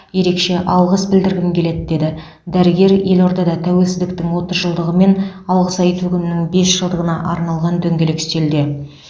ерекше алғыс білдіргім келеді деді дәрігер елордада тәуелсіздіктің отыз жылдығы мен алғыс айту күнінің бес жылдығына арналған дөңгелек үстелде